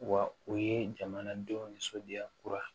Wa o ye jamanadenw nisɔndiya